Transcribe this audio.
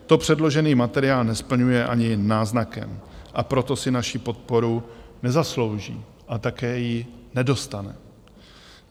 To předložený materiál nesplňuje ani náznakem, a proto si naši podporu nezaslouží a také ji nedostane.